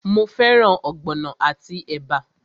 Mo fẹ́ràn ogbono àti ẹ̀bà?